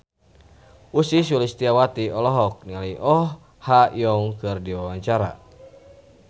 Ussy Sulistyawati olohok ningali Oh Ha Young keur diwawancara